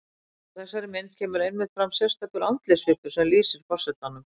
Á þessari mynd kemur einmitt fram sérstakur andlitssvipur sem lýsir forsetanum.